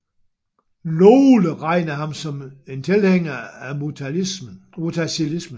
Nogle regner ham som en tilhænger af mutazilismen